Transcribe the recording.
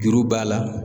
Juru b'a la